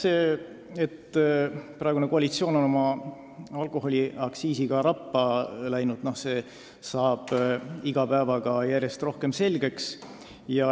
See, et praegune koalitsioon on oma alkoholiaktsiisiga rappa läinud, saab iga päevaga järjest rohkem selgeks.